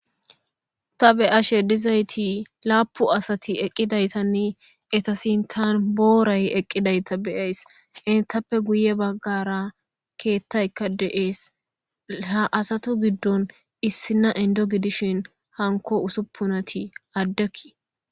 ta be'ashe dizayti laapu asati eqqidaytanne eta sintan booray eqqidayta beyays ettappe guye baggara keettaykka de'ees ha asatu giddon issina indo gidishin hanko usuppunati addekki